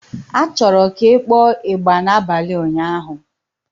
A chọrọ ka ị kpọọ ịgbà n'abalị ụnyaahụ.